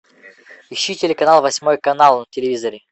ищи телеканал восьмой канал на телевизоре